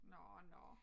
Nå nå